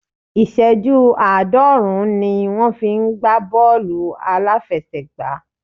Ìṣẹ́jú àádọ́rùn-ún ni wón fi ń gbá Bọ́ọ̀lù aláfiẹsẹ̀ gbá.